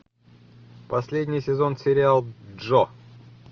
последний сезон сериал джо